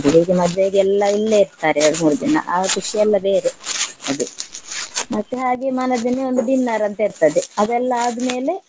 ಹೀಗೆ ಮದ್ವೆಗೆಲ್ಲ ಇಲ್ಲೇ ಇರ್ತಾರೆ ಎರ್ಡ್ ಮೂರ್ ದಿನಾ ಆಗ ಖುಷಿಯೆಲ್ಲ ಬೇರೆ ಅದೇ ಮತ್ತೆ ಹಾಗೆ ಮಾರ್ನೆ ದಿನ ಒಂದು dinner ಅಂತ ಇರ್ತದೆ ಅವೆಲ್ಲ ಆದ್ಮೇಲೆ